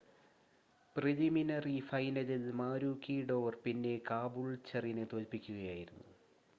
preliminary ഫൈനലിൽ മാരൂക്കിഡോർ പിന്നെ കാബൂൾച്ചറിനെ തോൽപ്പിക്കുകയായിരുന്നു